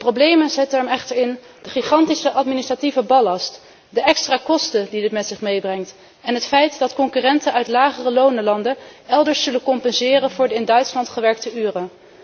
De problemen zitten echter in de gigantische administratieve ballast, de extra kosten die dit met zich meebrengt en het feit dat concurrenten uit lagereloonlanden elders zullen compenseren voor de in Duitsland gewerkte uren.